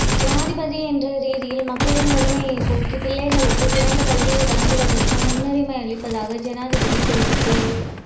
ஜனாதிபதி என்ற ரீதியில் மக்களின் வறுமையை போக்கி பிள்ளைகளுக்கு சிறந்த கல்வியை வழங்குவதற்கும் முன்னுரிமை அளிப்பதாக ஜனாதிபதி தெரிவிப்பு